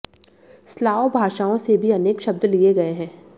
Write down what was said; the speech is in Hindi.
स्लाव भाषाओं से भी अनेक शब्द लिए गए हैं